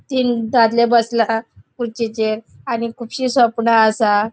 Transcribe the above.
तीन दादले बसला. खुर्चीचेर आणि खूबशीं सोपणा असा.